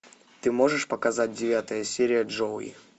ты можешь показать девятая серия джоуи